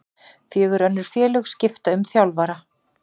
Fjögur önnur félög skipta um þjálfara